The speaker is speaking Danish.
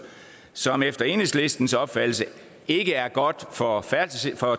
som efter enhedslistens opfattelse ikke er godt for